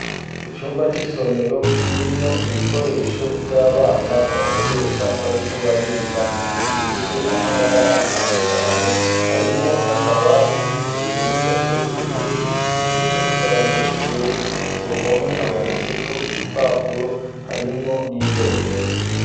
Icumba c'isomero kirimwo ibikoresho vy'abana bakoresha bariko bariga bifise amabara atandukanye harimwo n'akabati hejuru gateretse ko ibikinisho vy'abanyeshure ku ruhome hamanitse ko ibipapuro harimwo n'ibendera.